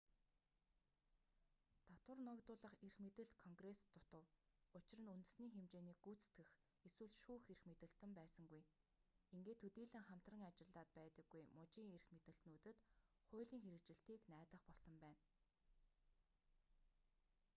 татвар ногдуулах эрх мэдэл конгресст дутав учир нь үндэсний хэмжээний гүйцэтгэх эсвэл шүүх эрх мэдэлтэн байсангүй ингээд төдийлөн хамтран ажиллаад байдаггүй мужийн эрх мэдэлтнүүдэд хуулийн хэрэгжилтийг найдах болсон байна